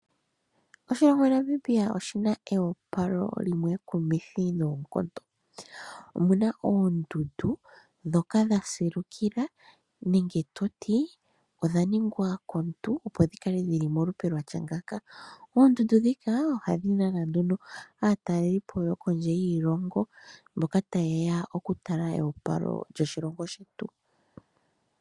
Oshilongo Namibia ,oshina eopalo limwe ekumithi noonkondo. Omuna oondundu ndhoka dha silukila nenge toti ,odha ningwa komuntu ,opo dhi kale dhili molupe lwatya ngaaka. Oondundu ndhika, ohadhi nana nduno aatalelipo yokondje yiilongo, mboka tayeya okutala eopalo lyoshilongo shetu.